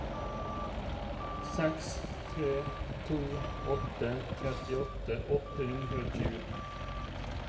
seks tre to åtte trettiåtte åtte hundre og tjue